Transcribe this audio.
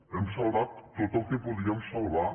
hem salvat tot el que podíem salvar